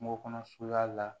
Kungo kɔnɔ suruya la